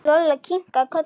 Lolla kinkaði kolli.